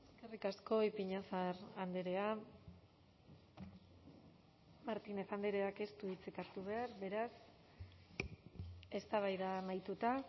eskerrik asko ipiñazar andrea martínez andreak ez du hitzik hartu behar beraz eztabaida amaituta